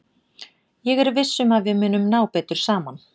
Ég er viss um að við munum ná betur saman.